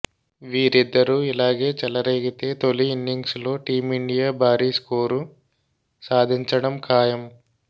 వీరిద్దరూ ఇలాగే చెలరేగితే తొలి ఇన్నింగ్స్ లో టీమిండియా భారీ స్కోరు సాధించడం ఖాయం